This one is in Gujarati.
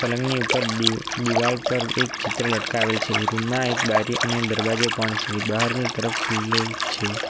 પલંગની ઉપર દીવ દિવાલ પર એક ચિત્ર લટકાવેલ છે રૂમ માં એક બારી અને દરવાજો પણ છે બહારની તરફ ખુલ્લું છે.